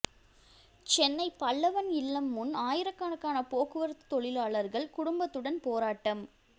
சென்னை பல்லவன் இல்லம் முன் ஆயிரக்கணக்கான போக்குவரத்து தொழிலாளர்கள் குடும்பத்துடன் போராட்டம்